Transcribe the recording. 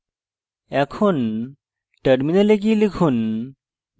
এখন terminal গিয়ে লিখুন;